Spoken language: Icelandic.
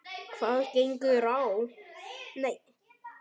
Hvað gengur að?